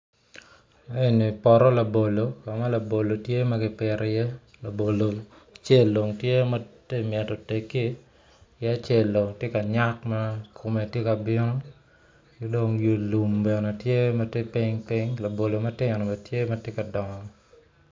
Eni poto labolo ka ma labolo tye ma kipito iye labolo acel dong tye ma tye mito tegi ki acel dong tye ka nyak ma kome tye ka bino ki dong i lum bene tye ma tye piny piny labolo matino bene tye ma tye ka dongo.